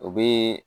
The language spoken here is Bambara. O be